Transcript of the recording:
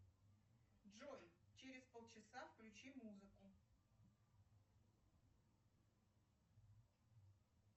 джой через полчаса включи музыку